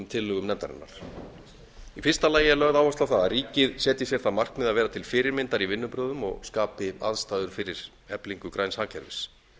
tillögum nefndarinnar í fyrsta lagi er lögð áhersla á það að ríkið setji sér það markmið að vera til fyrirmyndar í vinnubrögðum og skapi aðstæður fyrir eflingu græns hagkerfis